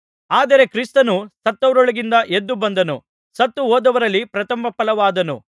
ಆದರೆ ಕ್ರಿಸ್ತನು ಸತ್ತವರೊಳಗಿಂದ ಎದ್ದು ಬಂದನು ಸತ್ತುಹೋದವರಲ್ಲಿ ಪ್ರಥಮಫಲವಾದನು